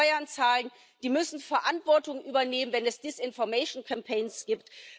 Die müssen Steuern zahlen, die müssen Verantwortung übernehmen, wenn es Desinformationskampagnen gibt.